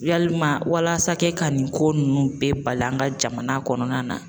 Yalima walasa ka kɛ ka nin ko nunnu bɛɛ bali an ka jamana kɔnɔna na